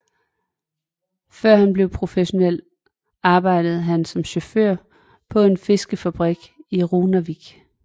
Før han blev professionel arbejdede han som chauffør på en fiskefabrik i Runavík